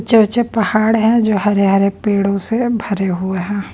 पहाड़ हैं जो हरे-हरे पेड़ों से भरे हुए है।